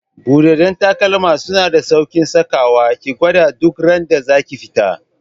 Buɗaɗɗen takalma suna da sauƙin saka wa, ki gwada duk randa zaki fita